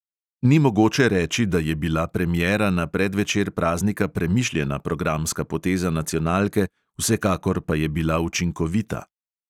Ni mogoče reči, da je bila premiera na predvečer praznika premišljena programska poteza nacionalke, vsekakor pa je bila učinkovita.